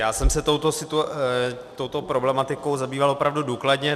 Já jsem se touto problematikou zabýval opravdu důkladně.